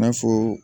I n'a fɔ